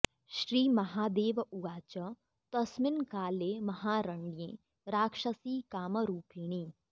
श्री महादेव उवाच तस्मिन् काले महारण्ये राक्षसी कामरूपिणी